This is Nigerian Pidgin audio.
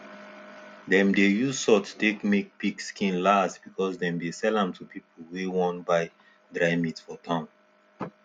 dem dey use salt take make pig skin last because dem dey sell am to pipu wey wan buy dry meat for town